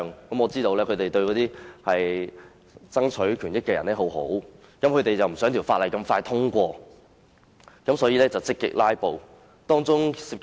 我知道他們是想為那些人爭取權益，不想法案這麼快獲得通過，於是便積極"拉布"。